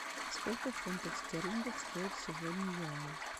сколько фунтов стерлингов стоит сегодня юань